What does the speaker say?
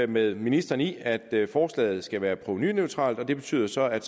med ministeren i at at forslaget skal være provenuneutralt og det betyder så at